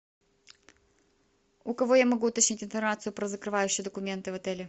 у кого я могу уточнить информацию про закрывающие документы в отеле